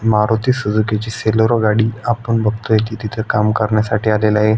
Maruti Suzuki ची Celerio गाडी आपण बघतोय ती तिथ काम करण्यासाठी आलेलय.